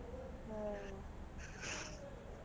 ಹ್ಮ .